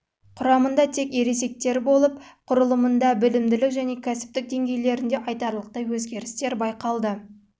ғана ересектер болып оның саны адам яғни болды құрылымында білімділік және кәсіптік деңгейлерінде айтарлықтай өзгерістер байланысты